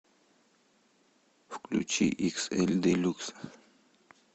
включи иксэль делюкс